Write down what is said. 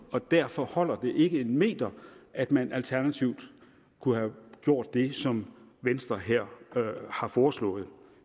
og derfor holder det ikke en meter at man alternativt kunne have gjort det som venstre her har foreslået